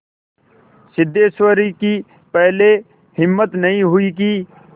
सिद्धेश्वरी की पहले हिम्मत नहीं हुई कि